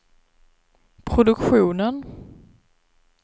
produktionen